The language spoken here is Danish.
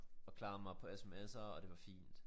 Og klarede mig på sms'er og det var fint